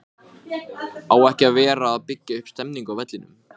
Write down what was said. Míra, hringdu í Heiðmund eftir sjötíu og níu mínútur.